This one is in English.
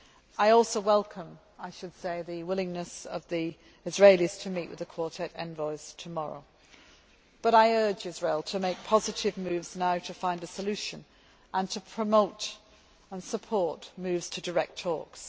I also welcome the willingness of the Israelis to meet with the Quartet envoys tomorrow, but I urge Israel to make positive moves now to find a solution and to promote and support moves towards direct talks.